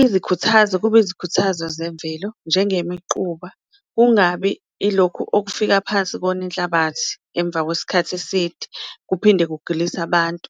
izikhuthazo kube izikhuthazo zemvelo njenge miquba kungabi ilokhu okufika phansi kone inhlabathi. Emva kwesikhathi eside kuphinde kugilise abantu.